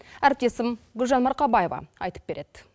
әріптесім гүлжан марқабаева айтып береді